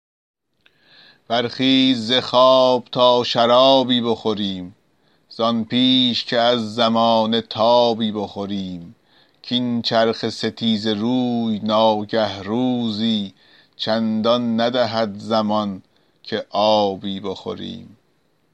برخیز ز خواب تا شرابی بخوریم زان پیش که از زمانه تابی بخوریم کاین چرخ ستیزه روی ناگه روزی چندان ندهد زمان که آبی بخوریم